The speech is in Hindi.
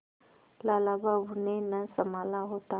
लाला बाबू ने न सँभाला होता